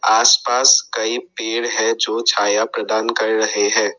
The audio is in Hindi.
आस पास कई पेड़ हैं जो छाया प्रदान कर रहे हैं।